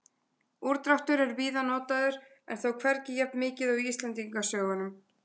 Úrdráttur er víða notaður en þó hvergi jafnmikið og í Íslendingasögunum.